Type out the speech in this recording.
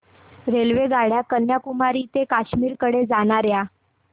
रेल्वेगाड्या कन्याकुमारी ते काश्मीर कडे जाणाऱ्या